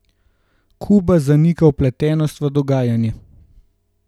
Kuba zanika vpletenost v dogajanje.